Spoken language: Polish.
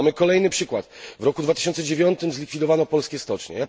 Mamy kolejny przykład w roku 2009 zlikwidowano polskie stocznie.